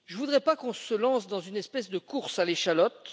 Je ne voudrais pas qu'on se lance dans une espèce de course à l'échalote.